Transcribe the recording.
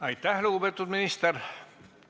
Aitäh, lugupeetud minister!